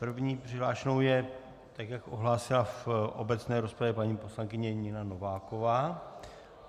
První přihlášenou je, tak jak ohlásila v obecné rozpravě, paní poslankyně Nina Nováková.